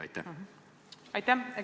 Aitäh!